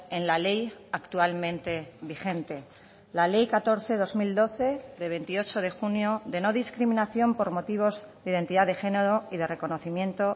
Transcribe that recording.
en la ley actualmente vigente la ley catorce barra dos mil doce de veintiocho de junio de no discriminación por motivos de identidad de género y de reconocimiento